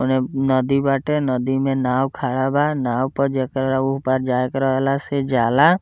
ओने नदी बाटे नदी में नाव खड़ा बा नाव पर जेकरा ऊ पार जाए के रहेला से जाएला।